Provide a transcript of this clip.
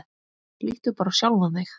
Líttu bara á sjálfan þig.